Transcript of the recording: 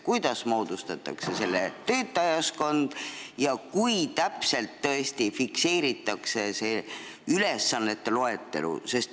Kuidas moodustatakse selle töötajaskond ja kui täpselt fikseeritakse ülesannete loetelu?